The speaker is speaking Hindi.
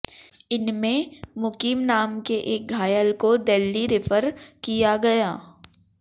इनमें मुकीम नाम के एक घायल को दिल्ली रेफर किया गया